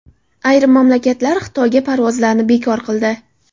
Ayrim mamlakatlar Xitoyga parvozlarni bekor qildi.